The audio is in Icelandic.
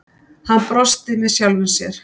Hann brosti með sjálfum sér.